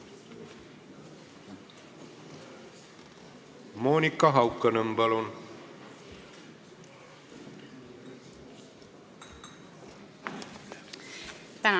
Monika Haukanõmm, palun!